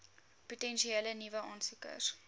potensiële nuwe aansoekers